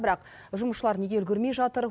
бірақ жұмысшылар неге үлгермей жатыр